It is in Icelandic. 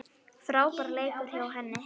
Frábær leikur hjá henni.